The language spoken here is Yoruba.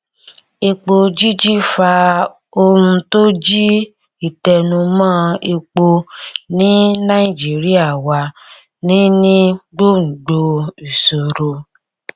epo jíjí fa ohun tó jí ìtẹnumọ epo ní nàìjíríà wà ní ní gbòngbò ìṣòro